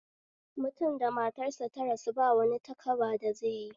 Mutum da matar sa ta rasu bawani takaba da zaiyi